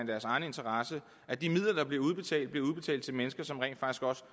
deres egen interesse at de midler der bliver udbetalt bliver udbetalt til mennesker som rent faktisk også